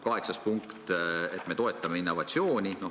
Kaheksas punkt: me toetame innovatsiooni.